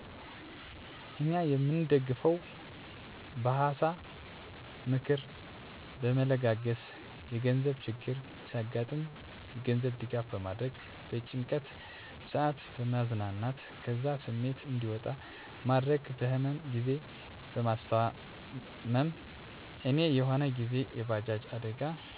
እኛ የምንደጋገፈዉ በሀሳ(ምክር)በመለጋገስ፣ የገንዘብ ችግር ሲያገጥም የገንዘብ ድጋፍ በማድረግ፣ በጭንቀት ሰአት በማዝናናት ከዛ ስሜት እዲወጣ በማድረግ፣ በህመም ግዜ በማስታም፦ እኔ የሆነ ግዜ የባጃጅ አደጋ ምክንያት እግሬ ላይ ትንሽ ጉዳት ደርሶብኝ በቤተሰቦቼ ድጋፍ እና እንክብካቤ ማገገም ችያለሁ